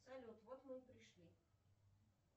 салют вот мы и пришли